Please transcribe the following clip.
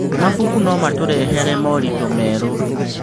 Mabuku no matũrehere moritũ merũ.